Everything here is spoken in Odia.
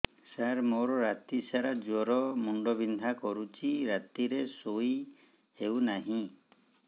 ସାର ମୋର ରାତି ସାରା ଜ୍ଵର ମୁଣ୍ଡ ବିନ୍ଧା କରୁଛି ରାତିରେ ଶୋଇ ହେଉ ନାହିଁ